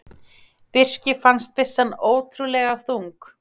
Birki fannst byssan ótrúlega þung.